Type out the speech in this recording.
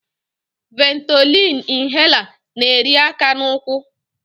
Ventolin inhaler na-eri aka na ụkwụ.